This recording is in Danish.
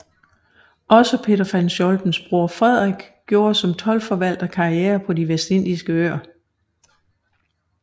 Også Peter von Scholtens bror Frederik gjorde som toldforvalter karriere på De vestindiske Øer